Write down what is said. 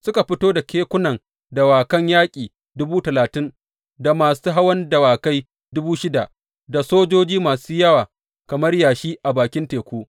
Suka fito da kekunan dawakan yaƙi dubu talatin, da masu hawan dawakai dubu shida, da sojoji masu yawa kamar yashi a bakin teku.